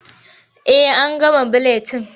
Eh an gama buletin.